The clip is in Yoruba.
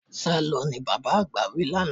Sálọ! ni bàbá àgbà wí lánàá.